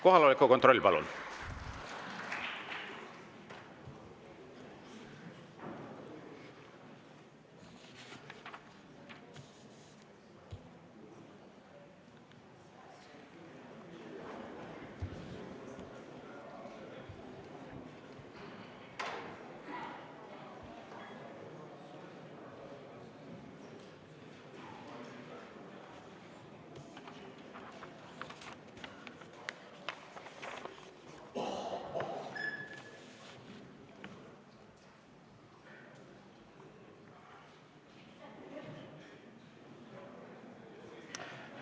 Kohaloleku kontroll, palun!